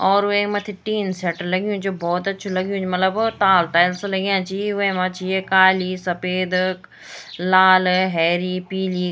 और वेक मत्थी टीन शेट लग्युं च जू भौत अच्छु लग्युं च मलब ताल टेल्स लग्याँ छी वैमा छी एक काली सपेद लाल हैरी पीली।